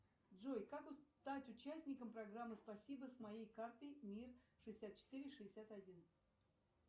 джой как стать участником программы спасибо с моей картой мир шестьдесят четыре шестьдесят один